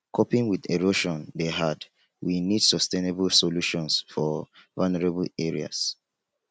coping with erosion dey hard we need sustainable solutions for vulnerable areas